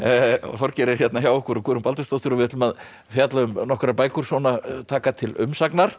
Þorgeir er hérna hjá okkur og Guðrún Baldvinsdóttir við ætlum að fjalla um nokkrar bækur svona taka til umsagnar